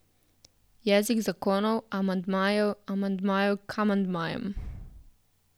Jezik zakonov, amandmajev, amandmajev k amandmajem.